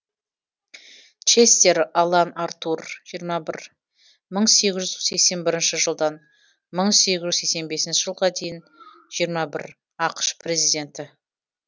честер алан аартур жиырма бір мың сегіз жүз сексен бір жылдан мың сегіз жүз сексен бесінші жылға дейін жиырма бір ақш президенті